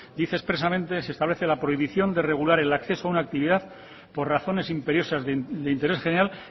dice expresamente se establece la prohibición de regular el acceso a una actividad por razones imperiosas de interés general